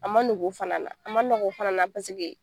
A ma nɔgɔ o fana na , a ma nɔgɔ o fana na paseke